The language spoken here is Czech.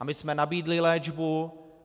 A my jsme nabídli léčbu.